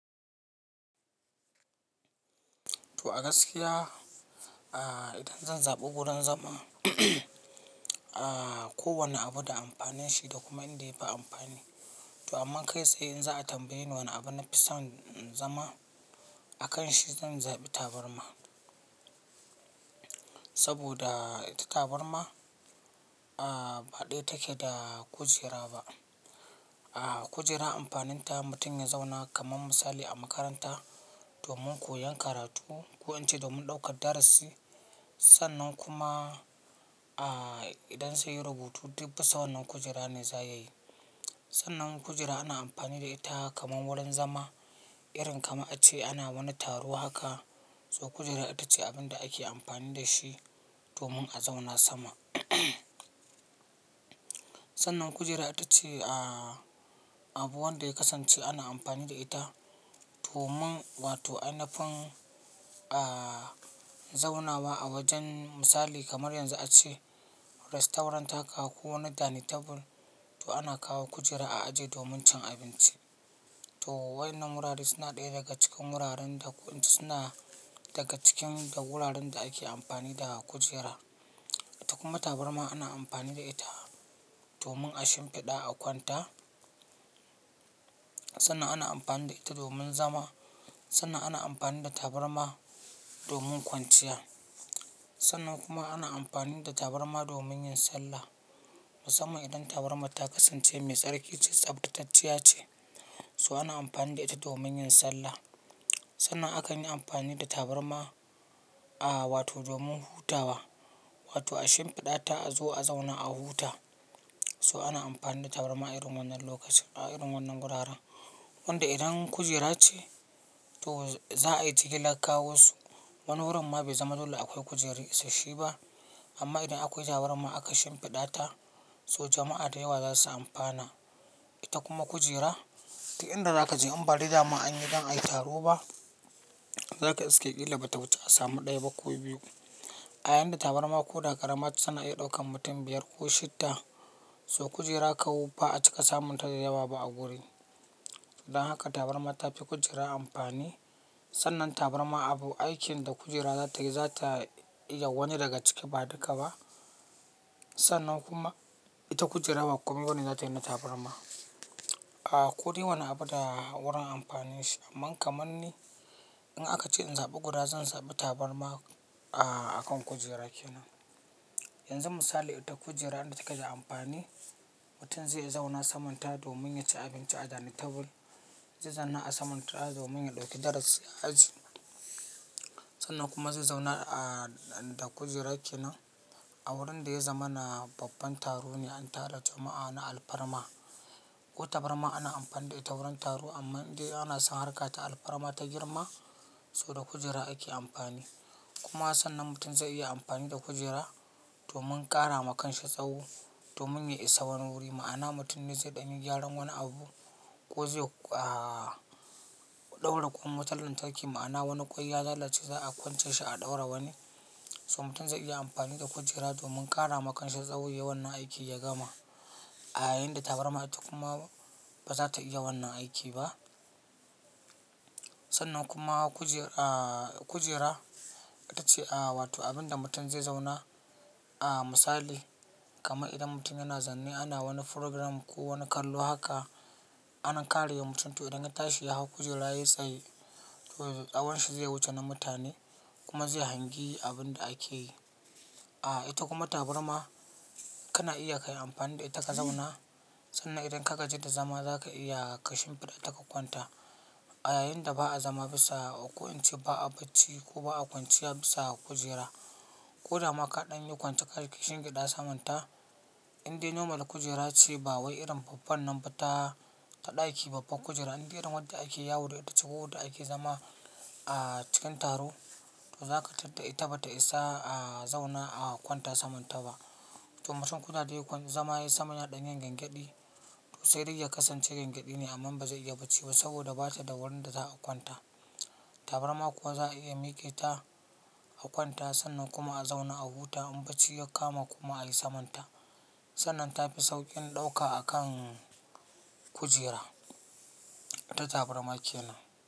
To a gaskiya, idan zan zabi wurin zama, kowane abu da amfanin shi da kuma inda yafi amfani. To amma kai tsaye in za a tambaye ni wane abu nafi son zama, a kan shi zan zabi tabarma. Saboda ita tabarma baɗaya take da kujera ba. Kujera amfaninta mutum ya zauna kaman misali a makaranta domin koyan karatu, ko in ce domin ɗaukar darasi. Sannan kuma idan zai yi rubutu duk bisa wannan kujera ne za ya yi. Sannan kujera ana amfani da ita kamar wurin zama, irin kamar a ce ana wani taro haka, to kujera ita ce abin da ake amfani da shi domin a zauna sama. Sannan kujera ita ce abu wanda ya kasance ana amfani da ita domin wato inafin zaunawa a wajen misali kamar yanzu ace rastorant haka ko wani dining table, to ana kawo kujera a ajiye domin cin abinci. To waɗannan wurare suna ɗaya daga cikin wuraren da ko in ce suna daga cikin da wuraren da ake amfani da kujera. Ita kuma tabarma ana amfani da ita domin a shimfiɗa a kwanta. Sannan ana amfani da ita domin zama, sannan ana amfani da tabarma domin kwanciya. Sannan kuma ana amfani da tabarma domin yin sallah. Musamman idan tabarma ta kasance mai tsarki ce, tsaftatacciya ce, so ana amfani da ita domin yin sallah. Sannan akan yi amfani da tabarma wato domin hutawa, wato a shimfiɗa ta a zo a zauna a huta. So ana amfani da tabarma a irin wannan lokacin, a irin wannan wuraren. Wanda idan kujera ce, to za a yi jiri lakkawo su. Wani wurin ma bai zama dole akwai kujera isashe ba. Amma idan akwai tabarma aka shimfiɗa ta, to jama'a da yawa za su amfana. Ita kuma kujera, duk idan za ka je ambalida ma an yi don a yi taro ba, za ka iske ƙila bata wuce a samu ɗaya ba ko biyu. A yayinda tabarma ko da karamar su suna iya ɗaukan mutum biyar ko shidda. So kujera kawo ba a cika samun ta da yawa ba a wuri. Dan haka tabarma ta fi kujera amfani. Sannan tabarma abu aikin da kujera za ta yi, za ta yawani daga ciki ba duka ba. Sannan kuma ita kujera ba makomi bane za ta yi na tabarma. Ko d wane abu da wurin amfanin shi. Amma kamar ni, in aka ce in zaɓi guda zan zabi tabarma a kan kujera ke nan. Yanzu misali ita kujera inda takada amfani, mutum zai zauna samanta domin ya ci abinci a dining table, zai zauna a samanta domin ya ɗauki darasi a aji. Sannan kuma zai zauna a da kujera ke nan a wurin da ya zama na babban taro ne an tara jama'a ana alfarma. Ko tabarma ana amfani da ita wurin taro amma idan ana san harka ta alfarma ta girma, so da kujera ake amfani. Kuma sannan mutum zai iya amfani da kujera domin ƙara ma kansa tsaho, domin ya isa wani wuri. Ma'ana mutum ne zai ɗani gyaran wani abu ko zai ɗaura kuma wata lantarki. Ma'ana wani kwai ya lalace za a kwance shi a ɗaura wani. So mutum zai iya amfani da kujera domin ƙara ma kansa tsaho ya wanna aiki ya gama. A yayinda tabarma ita kuma ba za ta iya wannan aiki ba. Sannan kuma kujera ita ce wato abin da mutum zai zauna. Misali kamar idan mutum yana zanne ana wani program ko wani kallo haka, ana karewa mutum. To idan ya tashi ya hau kujera ya yi tsaye, to tsawon shi zai wuce na mutane kuma zai hangi abin da ake yi. Ita kuma tabarma kana iya kai amfani da ita ka zauna. Sannan idan ka ka je da zama za ka iya ka shimfiɗa ta ka kwanta. A yayinda ba'a zama bisa ko in ce ba'a bacci ko ba'a kwanciya bisa kujera. Ko da ma kaɗan yi kwance ka shi ka shimfiɗa samanta, inda normal kujera ce ba wai irin babban nan ba ta, ta ɗaki babban kujera inda irin wadda ake yawo da ita ko wadda ake zama a cikin taro, to za ka tarta ita bata isa a zauna a kwanta samanta ba. To mutum koda dai kwai zama ya yi samanya ɗan yin gyan gyafadi, to sai dai ya kasance ganyadi ne amma ba zai iya bacci ba saboda bata da wurin da za a kwanta. Tabarma kuwa za a iya miƙe ta a kwanta sannan kuma a zauna a huta in bacci ya kama kuma a yi samanta. Sannan ta fi sauƙin ɗauka a kan kujera, ita tabarma ke nan.